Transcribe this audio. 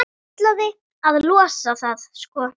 Ætlaði að losa það, sko.